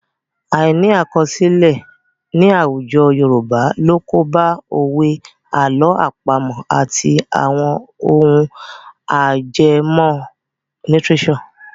Àìní àkọsílẹ̀ ní àwùjọ Yorùbá ló kóbá òwe, àlọ́ àpamọ̀ àti àwọn ohun ajẹmọ́ lítíréṣọ̀.